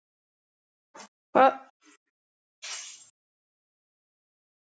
Hvað er gott og hvað er vont?